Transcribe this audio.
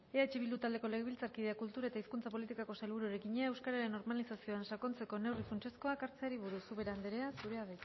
eh bildu taldeko legebiltzarkideak kultura eta hizkuntza politikako sailburuari egina euskararen normalizazioan sakontzeko neurri funtsezkoak hartzeari buruz ubera andrea zurea